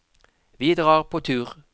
Vi drar på tur!